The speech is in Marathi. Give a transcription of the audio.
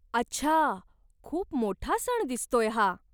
अच्छा, खूप मोठा सण दिसतोय हा.